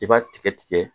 I b'a tigɛ tigɛ